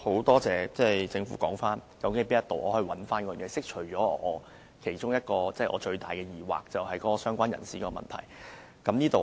多謝政府的提醒，讓我找回遺漏之處，釋除我其中一個最大的疑惑，就是相關人士的問題。